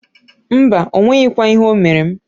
Mbaǃ O nweghikwa ihe o mere m.